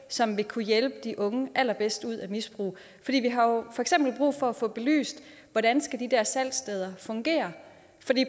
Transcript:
som vil kunne hjælpe de unge allerbedst ud i misbrug vi har jo for eksempel brug for at få belyst hvordan de der salgssteder fungere